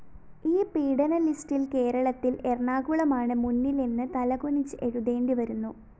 ഈ പീഡന ലിസ്റ്റില്‍ കേരളത്തില്‍ എറണാകുളമാണ് മുന്നിലെന്ന് തലകുനിച്ച് എഴുതേണ്ടിവരുന്നു